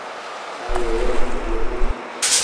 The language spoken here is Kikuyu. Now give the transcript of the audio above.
Cai ũyũ nĩ mũhiũ mũno